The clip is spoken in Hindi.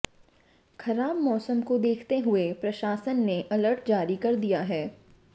खराब मौसम को देखते हुए प्रशासन ने अलर्ट जारी कर दिया है